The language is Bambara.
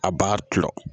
A b'a to